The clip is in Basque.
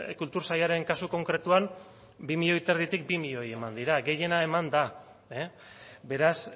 kultur sailaren kasu konkretuan bi milioi eta erditik bi milioi eman dira gehiena eman da beraz